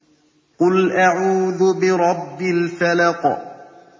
قُلْ أَعُوذُ بِرَبِّ الْفَلَقِ